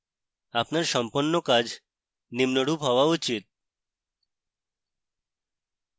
আপনার সম্পন্ন কাজ নিম্নরূপ হওয়া উচিত